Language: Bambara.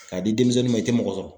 K'a di denmisɛnnin ma i tɛ mɔgɔ sɔrɔ.